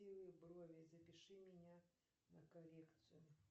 брови запиши меня на коррекцию